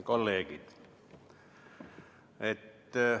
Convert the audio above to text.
Kolleegid!